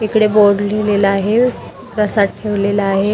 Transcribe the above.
इकडे बोर्ड लिहिलेला आहे प्रसाद ठेवलेला आहे.